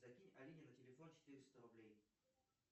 закинь алине на телефон четыреста рублей